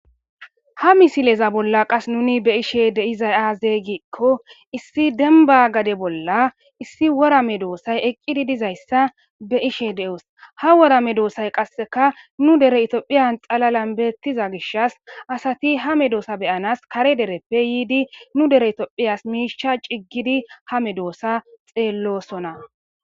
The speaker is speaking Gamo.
Ha misileza bolla qassi nu be7ishee de7izaa aazee giikko issi dembba gade bolla issi wora medoossay iqqidi dizayssa be7ishee de7oos; ha wora medoosay qassikka nu dere ethoophiya xalalan beeththiza gishshas asathi ha medoosa be7anas kare dereppe yiidi nu dere ethoophiyas miishshaa ciggidi ha medoosaa xeelloosona.